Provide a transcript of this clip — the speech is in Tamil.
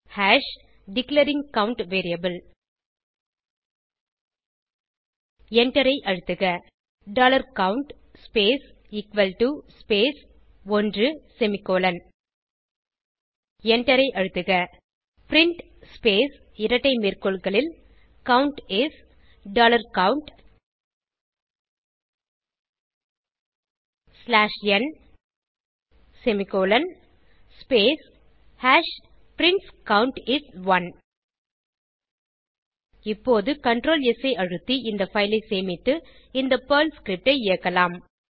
ஹாஷ் டிக்ளேரிங் கவுண்ட் வேரியபிள் எண்டரை அழுத்துக dollar count space equal to space 1 semicolon எண்டரை அழுத்துக பிரின்ட் ஸ்பேஸ் இரட்டை மேற்கோள்களில் count is dollar count slash n semicolon space hash prints count is 1 இப்போது சிடிஎல்ஆர் ஸ் ஐ அழுத்தி இந்த பைல் ஐ சேமித்து இந்தPerl ஸ்கிரிப்ட் ஐ இயக்கலாம்